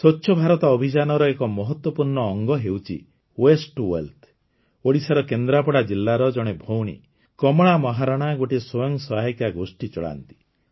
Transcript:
ସ୍ୱଚ୍ଛ ଭାରତ ଅଭିଯାନର ଏକ ମହତ୍ୱପୂର୍ଣ୍ଣ ଅଙ୍ଗ ହେଉଛି ୱାସ୍ତେ ଟିଓ ୱେଲ୍ଥ ଓଡ଼ିଶାର କେନ୍ଦ୍ରାପଡ଼ା ଜିଲ୍ଲାର ଜଣେ ଭଉଣୀ କମଳା ମହାରଣା ଗୋଟିଏ ସ୍ୱୟଂ ସହାୟିକା ଗୋଷ୍ଠୀ ଚଳାନ୍ତି